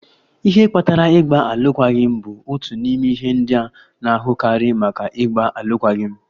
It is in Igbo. Ihe kpatara ịgba alụkwaghịm bụ otu n'ime ihe ndị a na-ahụkarị maka ịgba alụkwaghịm.